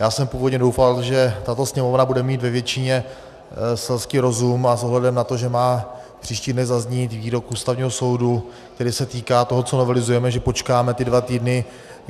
Já jsem původně doufal, že tato Sněmovna bude mít ve většině selský rozum a s ohledem na to, že má příští dny zaznít výrok Ústavního soudu, který se týká toho, co novelizujeme, že počkáme ty dva týdny.